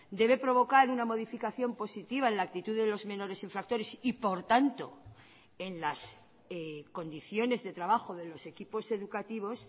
debe provocar una modificación positiva en la actitud de los menores infractores y por tanto en las condiciones de trabajo de los equipos educativos